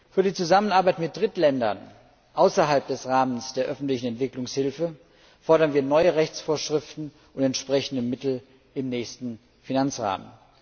Für die Zusammenarbeit mit Drittländern außerhalb des Rahmens der öffentlichen Entwicklungshilfe fordern wir neue Rechtsvorschriften und entsprechende Mittel im nächsten Finanzrahmen.